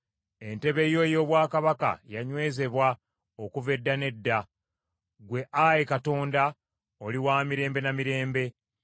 Entebe yo ey’obwakabaka yanywezebwa okuva edda n’edda. Ggwe, Ayi Katonda, oli wa mirembe na mirembe.